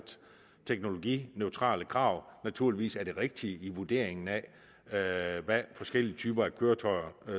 teknologineutrale krav naturligvis er det rigtige i vurderingen af af hvad forskellige typer køretøjer